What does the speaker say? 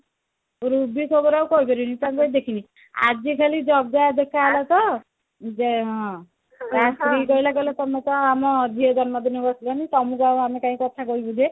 Ruby ଖବର ଆଉ କଣ କରିବି ମୁଁ ତାକୁ ଆଉ ଦେଖିନି ଆଜି ଖାଲି ଜଗା ଦେଖା ହେଲା ତ ଯ ହଁ ତା ସ୍ତ୍ରୀ କହିଲା କହିଲା ତମେ କଣ ଆମ ଝିଅ ଜନ୍ମ ଦିନକୁ ଆସିଲନି ତମକୁ ଆଉ ଆମେ ଆଉ ଆଉ କଥା କାଇଁ କହିବୁ ଯେ